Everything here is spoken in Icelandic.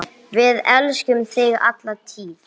Við elskum þig alla tíð.